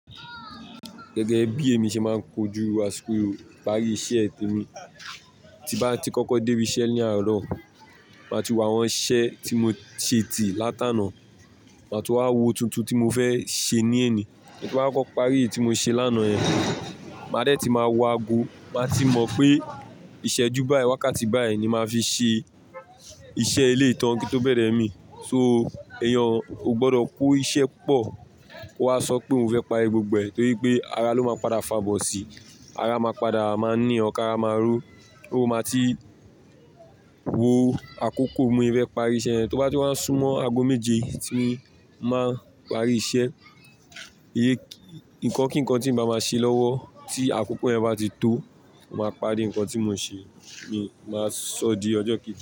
Gẹ́gẹ́ bí èmi ṣe máa ń kojú àsìkò ìparí iṣẹ́ tèmi, tí bá ti kọ́kọ́ dé ibi iṣẹ́ ní àárọ̀, màá ti wo àwọn iṣẹ́ tí mo ṣe tì látàná. Màá tún máa wo tuntun tí mo fẹ́ ṣe ní eni. Èmi máa kọ́ parí tí mo ṣe lánàá yẹn. Màá dẹ ti máa wo ago. Màá ti mọ̀ pé ìṣẹ́jú báyìí, wákàtí báyìí ni màá fi ṣe iṣẹ́ eleyi tàn kí n tó bẹ̀rẹ̀ mí. So, èèyàn ò gbọdọ̀ kó iṣẹ́ pọ̀. Ko wá sọ pé òun fẹ́ parí gbogbo ẹ̀ torí pé ara ló máa padà fàbọ̀ sí i. Ara máa padà máa ní or kàrá máa ro. Ó máa ti wo àkókò pé bi mó e fẹ́ parí iṣẹ́ yẹn. To bá ti wá súnmọ́ ago méje tí màá parí iṣẹ́, ìyé nǹkan kí nǹkan tí ń bá máa ṣe lọ́wọ́ tí àkókò yẹn bá ti tó, màá parí nǹkan tí mo ṣe. Mi máa sọ di ọjọ́ kejì.